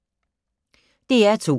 DR2